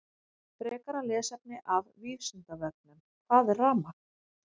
Frekara lesefni af Vísindavefnum: Hvað er rafmagn?